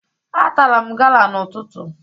Atara m gala n'ụtụtụ